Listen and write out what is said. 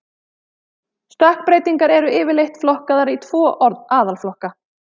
Stökkbreytingar eru yfirleitt flokkaðar í tvo aðalflokka.